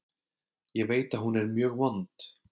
Ég veit að hún er mjög vond.